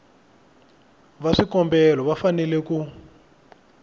va swikombelo va fanele ku